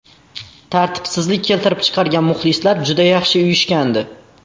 Tartibsizlik keltirib chiqargan muxlislar juda yaxshi uyushgandi.